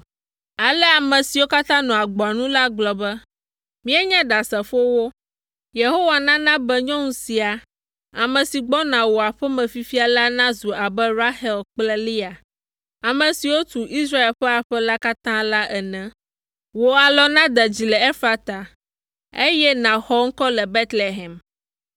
Ale ame siwo katã nɔ agboa nu la gblɔ be, “Míenye ɖasefowo. Yehowa nana be nyɔnu sia, ame si gbɔna wò aƒe me fifia la nazu abe Rahel kple Lea, ame siwo tu Israel ƒe aƒe la katã la ene. Wò alɔ nade dzi le Efrata, eye nàxɔ ŋkɔ le Betlehem.